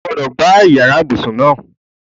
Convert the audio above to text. O gbúdọ̀ gbá yàrá ibùsùn náà!